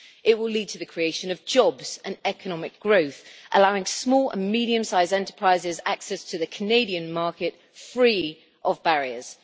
It will lead to the creation of jobs and economic growth, allowing small and medium size enterprises access to the Canadian market, free of barriers.